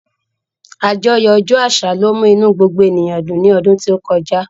Àjọyọ̀ ọjọ́ àṣà ló mú inú gbogbo ènìyàn dùn ní ọdún tó kọjá